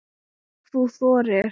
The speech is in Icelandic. Ef þú þorir!